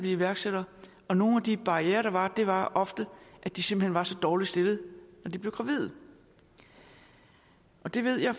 iværksættere og nogle af de barrierer der var var ofte at de simpelt hen var så dårligt stillede når de blev gravide det ved jeg